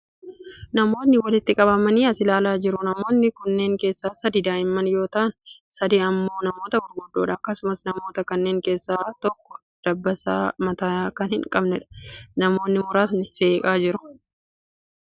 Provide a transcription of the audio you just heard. Namootni walitti qabamanii as ilaalaa jiru. Namoota kanneen keessaa sadi daa'imman yoo ta'an, sadi immoo namoota gurguddoodha. Akkasumas, namoota kanneen keessaa tokko dabbasaa mataa kan hin qabneedha. Namootni muraasni seeqaa jiru.